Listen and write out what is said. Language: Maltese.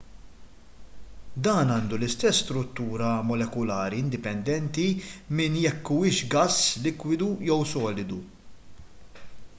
dan għandu l-istess struttura molekulari indipendenti minn jekk huwiex gass likwidu jew solidu